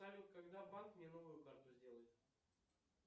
салют когда банк мне новую карту сделает